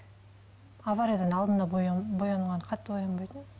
авариядан алдында боянғанда қатты боянбайтынмын